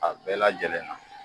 A bɛɛ lajɛlen na